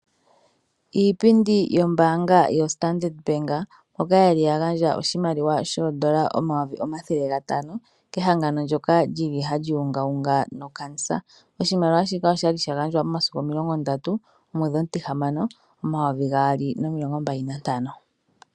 Iipindi yombaanga yoStandard Bank, mboka ye li ya gandja oshimaliwa shoondola omayovi omathele gatano kehangano ndyoka li li hali ungaunga nOkankela. Oshimaliwa shika osha li sha gandjwa momasiku omilongo ndatu gomwedhi omutihamano, omayovi gaali nomilongo mbali nantano.